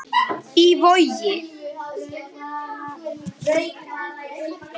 Í Vogi.